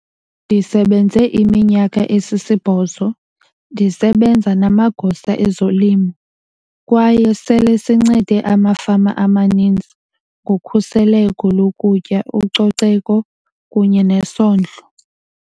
"Ndisebenze iminyaka esisibhozo, ndisebenza namagosa ezolimo, kwaye sele sincede amafama amaninzi ngokhuseleko lokutya, ucoceko kunye nesondlo."